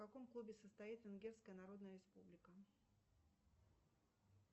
в каком клубе состоит венгерская народная республика